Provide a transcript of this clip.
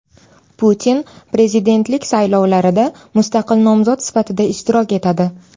Putin prezidentlik saylovlarida mustaqil nomzod sifatida ishtirok etadi.